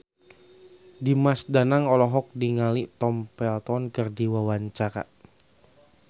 Dimas Danang olohok ningali Tom Felton keur diwawancara